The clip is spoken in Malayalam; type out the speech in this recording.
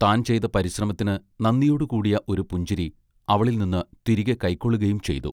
താൻ ചെയ്ത പരിശ്രമത്തിന് നന്ദിയോട് കൂടിയ ഒരു പുഞ്ചിരി അവളിൽനിന്ന് തിരികെ കയ്ക്കൊള്ളുകയും ചെയ്തു.